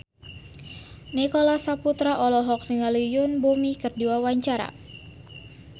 Nicholas Saputra olohok ningali Yoon Bomi keur diwawancara